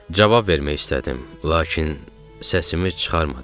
Cavab vermək istədim, lakin səsimi çıxarmadım.